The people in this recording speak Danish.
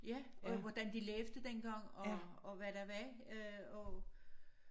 Ja og hvordan de læste dengang og og hvad der var øh af